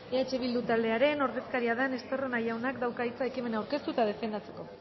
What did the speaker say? eh bildu taldearen ordezkaria den estarrona jaunak dauka hitza ekimena aurkeztu eta defendatzeko